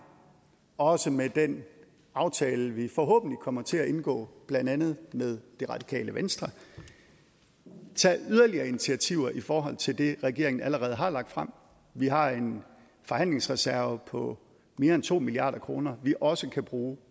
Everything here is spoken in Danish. også med den aftale vi forhåbentlig kommer til at indgå blandt andet med det radikale venstre tage yderligere initiativer i forhold til det regeringen allerede har lagt frem vi har en forhandlingsreserve på mere end to milliard kr vi også kan bruge